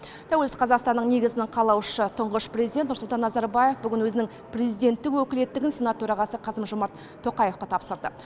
тәуелсіз қазақстанның негізін қалаушы тұңғыш президент нұрсұлтан назарбаев бүгін өзінің президенттік өкілеттігін сенат төрағасы қасым жомарт тоқаевқа тапсырды